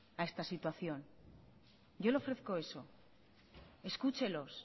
a esta situación yo le ofrezco eso escúchelos